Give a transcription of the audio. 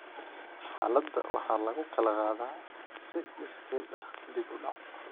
Xaaladda waxaa lagu kala qaadaa si iskeed ah dib u dhac.